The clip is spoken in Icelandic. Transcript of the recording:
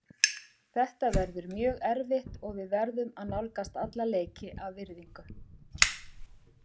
Þetta verður mjög erfitt og við verðum að nálgast alla leiki af virðingu.